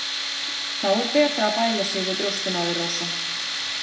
Þá er betra að bæla sig við brjóstin á þér, Rósa.